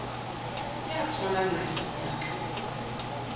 ya tswang naheng ya ka